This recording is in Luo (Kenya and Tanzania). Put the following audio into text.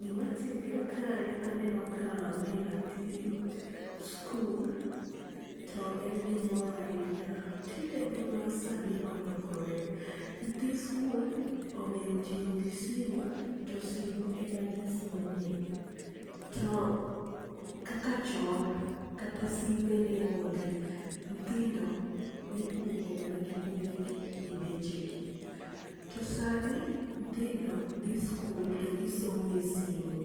Gi ma timre kae aneno ka mae nyathi skul to en gi mor ahinya. Tinde piny ma sani olokore nyithi skul ong'e tiyo gi simu to simo ema gi some. To kaka chon kata simbe ne onge nyithindo ni ipuonjo mana gi kwere gi gi deche gi. To sani nyithindo dhi skul to gi somo e simo,